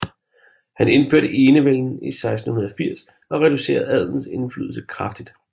Han indførte enevælden i 1680 og reducerede adelens indflydelse kraftigt